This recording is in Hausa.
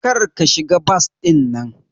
Kar ka shiga bas dinnan!